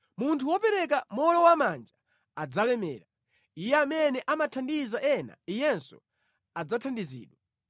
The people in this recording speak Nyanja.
Munthu wopereka mowolowamanja adzalemera; iye amene amathandiza ena iyenso adzathandizidwa.